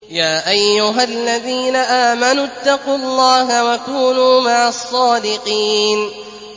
يَا أَيُّهَا الَّذِينَ آمَنُوا اتَّقُوا اللَّهَ وَكُونُوا مَعَ الصَّادِقِينَ